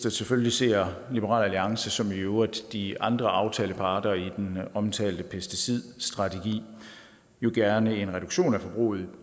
at selvfølgelig ser liberal alliance som i øvrigt de andre aftalepartnere i den omtalte pesticidstrategi jo gerne en reduktion af forbruget af